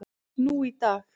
nú í dag.